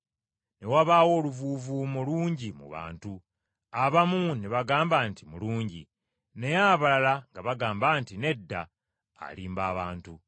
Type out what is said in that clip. Ne wabaawo oluvuuvuumo lungi mu bantu. Abamu ne bagamba nti, “Mulungi.” Naye abalala nga bagamba nti, “Nedda, alimba abantu.”